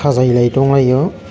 o jaga elai tong lai o.